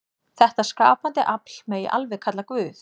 Þetta skapandi afl megi alveg kalla Guð.